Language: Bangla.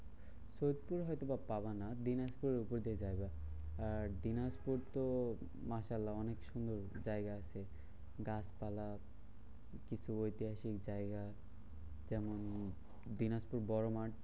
সত্যি হয়তো বা পাবানা দিনাজপুর ওপর দিয়ে জায়গা। আর দিনাজপুর তো মাসাল্লা অনেক সুন্দর জায়গা আছে গাছপালা কিছু ঐতিহাসিক জায়গা যেমন দিনাজপুর বড় মাঠ।